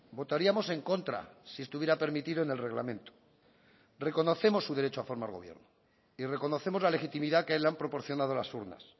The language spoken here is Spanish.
votaríamos en contra si estuviera permitido en el reglamento reconocemos su derecho a formar gobierno y reconocemos la legitimidad que le han proporcionado las urnas